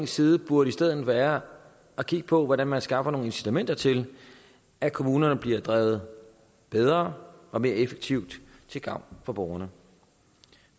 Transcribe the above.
side burde i stedet være at kigge på hvordan man skaffer nogle incitamenter til at kommunerne bliver drevet bedre og mere effektivt til gavn for borgerne